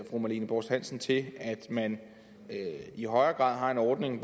fru marlene borst hansen til at man i højere grad har en ordning